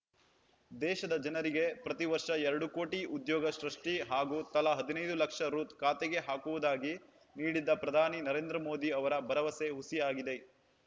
ದೇಶದ ಜನರಿಗೆ ಪ್ರತಿವರ್ಷ ಎರಡು ಕೋಟಿ ಉದ್ಯೋಗ ಸೃಷ್ಟಿ ಹಾಗೂ ತಲಾ ಹದಿನೈದು ಲಕ್ಷ ರೂ ಖಾತೆಗೆ ಹಾಕುವುದಾಗಿ ನೀಡಿದ್ದ ಪ್ರಧಾನಿ ನರೇಂದ್ರ ಮೋದಿ ಅವರ ಭರವಸೆ ಹುಸಿಯಾಗಿದೆ